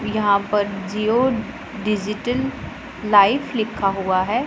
यहां पर Jio digital life लिखा हुआ है।